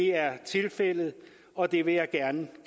er tilfældet og det vil jeg gerne